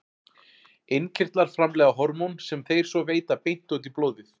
Innkirtlar framleiða hormón sem þeir svo veita beint út í blóðið.